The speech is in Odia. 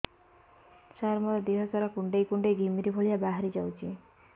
ସାର ମୋର ଦିହ ସାରା କୁଣ୍ଡେଇ କୁଣ୍ଡେଇ ଘିମିରି ଭଳିଆ ବାହାରି ଯାଉଛି